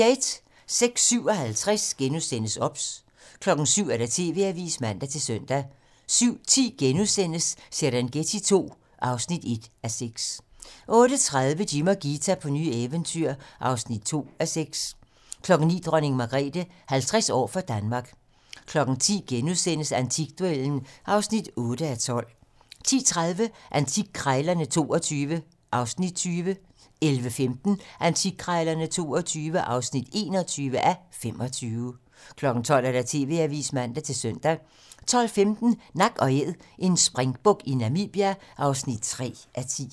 06:57: OBS * 07:00: TV-Avisen (man-søn) 07:10: Serengeti II (1:6)* 08:30: Jim og Ghita på nye eventyr (2:6) 09:00: Dronning Margrethe - 50 år for Danmark 10:00: Antikduellen (8:12)* 10:30: Antikkrejlerne XXII (20:25) 11:15: Antikkrejlerne XXII (21:25) 12:00: TV-Avisen (man-søn) 12:15: Nak & Æd - en springbuk i Namibia (3:10)